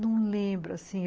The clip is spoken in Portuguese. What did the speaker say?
Não lembro, assim.